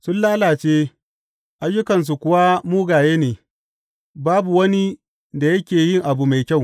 Sun lalace, ayyukansu kuwa mugaye ne; babu wani da yake yi abu mai kyau.